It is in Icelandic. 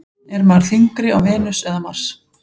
Er maður þyngri á Venus eða Mars?